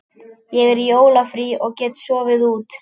Ég er í jólafríi og get sofið út.